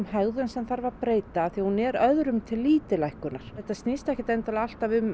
hegðun sem þarf að breyta hún er öðrum til lítillækkunar þetta snýst ekkert endilega alltaf um